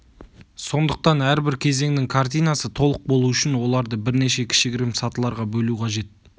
сондықтан әрбір кезеңнің картинасы толық болу үшін оларды бірнеше кішігірім сатыларға бөлу қажет